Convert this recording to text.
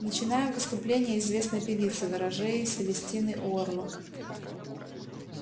начинаем выступление известной певицы ворожеи селестины уорлок